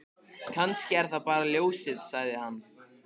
Kannski er það bara ljósið, sagði hann.